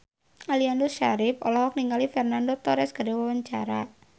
Aliando Syarif olohok ningali Fernando Torres keur diwawancara